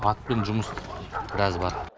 атпен жұмыс біраз бар